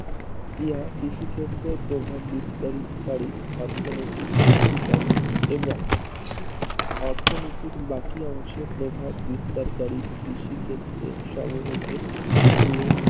ইহা কৃষি ক্ষেত্রে প্রভাব বিস্তারি করি অর্থনৈতিক শক্তি সম্মূহ এবং অর্থনীতির বাকি অংশ প্রভাব বিস্তারকারী কৃষি ক্ষেত্রে সমূহকে নিয়ে